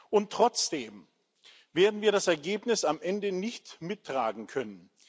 Und trotzdem werden wir das Ergebnis am Ende nicht mittragen können.